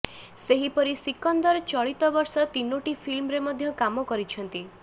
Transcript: ସେହିପରି ସିକନ୍ଦର ଚଳିତ ବର୍ଷ ତିନୋଟି ଫିଲ୍ମରେ ମଧ୍ୟ କାମ କରିଛନ୍ତି